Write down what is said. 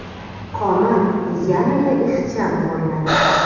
Qomat yanada ixcham ko‘rinadi.